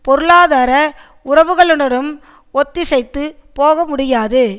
பொருளாதார உறவுகளுடனும் ஒத்திசைந்து போகமுடியாது